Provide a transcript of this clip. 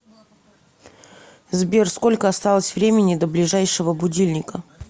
сбер сколько осталось времени до ближайшего будильника